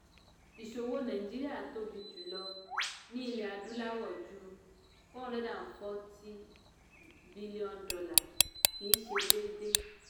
ìṣòwò nàìjíríà tóbi jùlọ ní ilẹ̀ adúláwọ̀ ju four hundred and forty billion kìí ṣe déédéé.